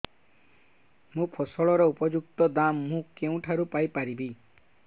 ମୋ ଫସଲର ଉପଯୁକ୍ତ ଦାମ୍ ମୁଁ କେଉଁଠାରୁ ପାଇ ପାରିବି